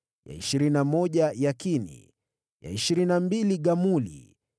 ya ishirini na moja Yakini, ya ishirini na mbili Gamuli,